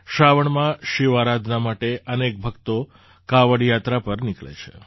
શ્રાવણમાં શિવ આરાધના માટે અનેક ભક્તો કાંવડ યાત્રા પર નીકળે છે